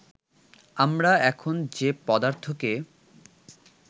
আমরা এখন যে পদার্থকে